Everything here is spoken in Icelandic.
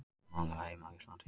Málið á heima á Íslandi